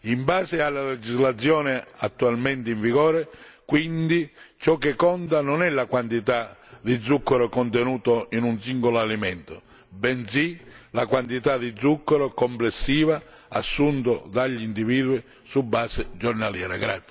In base alla legislazione attualmente in vigore quindi ciò che conta non è la quantità di zucchero contenuto in un singolo alimento bensì la quantità di zucchero complessiva assunta dagli individui su base giornaliera.